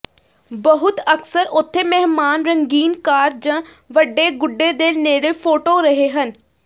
ਬਹੁਤ ਅਕਸਰ ਉੱਥੇ ਮਹਿਮਾਨ ਰੰਗੀਨ ਕਾਰ ਜ ਵੱਡੇ ਗੁੱਡੇ ਦੇ ਨੇੜੇ ਫੋਟੋ ਰਹੇ ਹਨ